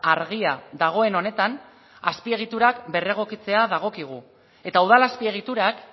argia dagoen honetan azpiegiturak berregokitzea dagokigu eta udal azpiegiturak